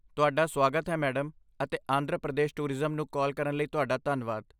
ਤੁਹਾਡਾ ਸੁਆਗਤ ਹੈ ਮੈਡਮ ਅਤੇ ਆਂਧਰਾ ਪ੍ਰਦੇਸ਼ ਟੂਰਿਜ਼ਮ ਨੂੰ ਕਾਲ ਕਰਨ ਲਈ ਤੁਹਾਡਾ ਧੰਨਵਾਦ।